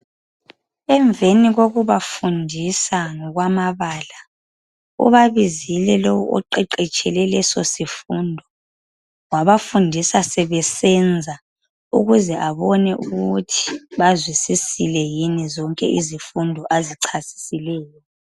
Emveni kokubafundisa ngokwamabala ubabizile lowo oqeqetshele lesosifundo. Wabafundisa sebesenza. Ukuze abone ukuthi bazwile na zonke izifundo azichasisileyo.